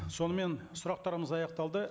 сонымен сұрақтарымыз аяқталды